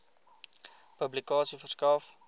publikasie verskaf